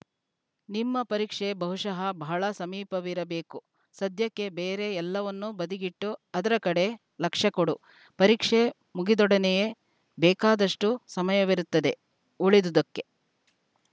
ನಿಮ್ಮ ಪರೀಕ್ಷೆ ಬಹುಶಃ ಬಹಳ ಸಮೀಪವಿರಬೇಕು ಸದ್ಯಕ್ಕೆ ಬೇರೆ ಎಲ್ಲವನ್ನೂ ಬದಿಗಿಟ್ಟು ಅದರ ಕಡೆ ಲಕ್ಷ್ಯಕೊಡು ಪರೀಕ್ಷೆ ಮುಗಿದೊಡನೆಯೇ ಬೇಕಾದಷ್ಟುಸಮಯವಿರುತ್ತದೆ ಉಳಿದುದಕ್ಕೆ